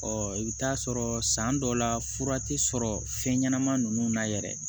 Ɔ i bɛ taa sɔrɔ san dɔw la fura tɛ sɔrɔ fɛn ɲɛnama ninnu na yɛrɛ